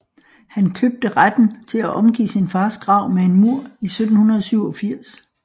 Han købte retten til at omgive sin fars grav med en mur i 1787